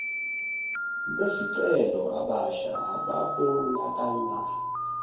besicelo abasha ababonakala